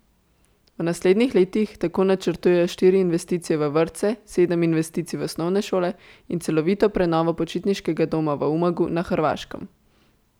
V naslednjih letih tako načrtujejo štiri investicije v vrtce, sedem investicij v osnovne šole in celovito prenovo počitniškega doma v Umagu na Hrvaškem.